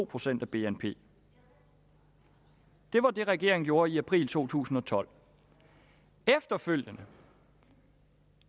procent af bnp det var det regeringen gjorde i april to tusind og tolv efterfølgende